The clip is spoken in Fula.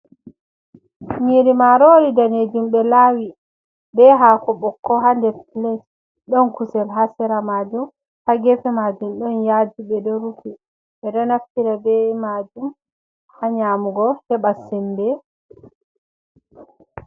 Yiri marori danejum ɓelawi, be hako bokko, ha nde plate, don kusel ha sera majum ha gefe majum ɗon yaji be do rufi, beɗo naftira be majum ha nyamugo heba sembe.